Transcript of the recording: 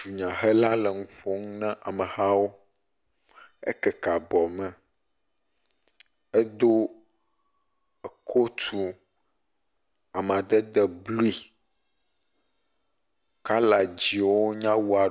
Dunyahela le nu ƒom na amehawo. Ekeke abɔ me. Edo kotu amadede blu, kɔla dzɛ̃wo nye …